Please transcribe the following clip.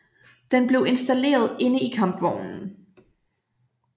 Den blev installeret inde i kampvognen